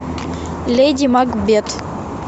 леди макбет